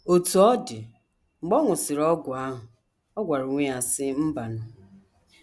Otú ọ dị, mgbe ọ ṅụsịrị ọgwụ ahụ, ọ gwara onwe ya, sị: ‘ Mbanụ.